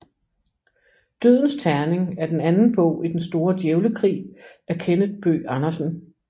Dødens terning er den anden bog i Den Store Djævlekrig af Kenneth Bøgh Andersen